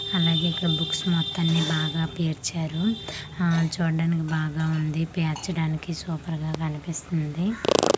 అలాగే ఇక్కడ బుక్స్ మొత్తాన్ని బాగా పేర్చారు హా చూడ్డానికి బాగా ఉంది పేర్చడానికి సూపర్ గా కనిపిస్తుంది.